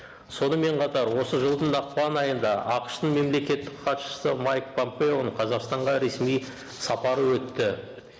сонымен қатар осы жылдың ақпан айында ақш тың мемлекеттік хатшысы майк помпеоның қазақстанға ресми сапары өтті